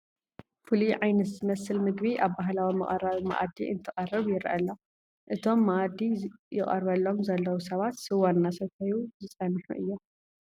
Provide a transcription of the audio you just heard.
ፍሉይ ዓይነት ዝመስል ምግቢ ኣብ ባህላዊ መቕረቢ መኣዲ እንትቐርብ ይርአ ኣሎ፡፡ እቶም መኣዲ ይቐርበሎም ዘለዉ ሰባት ስዋ እናሰተዩ ዝፀንሑ እዮም፡፡